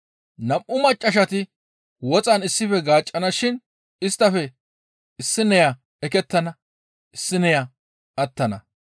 Nam7u maccassati woxan issife gaaccana shin isttafe issineya ekettana; issineya attana.